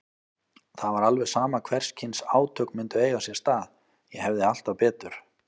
Það var alveg sama hvers kyns átök myndu eiga sér stað, ég hefði alltaf betur.